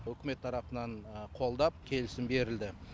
үкімет тарапынан қолдап келісім берілді